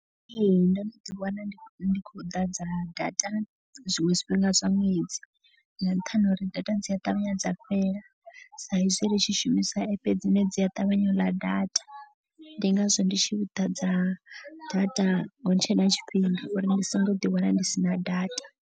Ee ndo no ḓi wana ndi khou ḓadza data zwiṅwe zwifhinga zwa ṅwedzi. Nga nṱhani ha uri data dzi a ṱavhanya dza fhela saizwi ri tshi shumisa app dzine dzi a ṱavhanya u ḽa data. Ndi ngazwo ndi tshi ḓadza data hutshe na tshifhinga uri ndi songo ḓi wana ndi sina data.